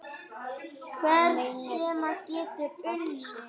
Hann meinar allt sitt mál.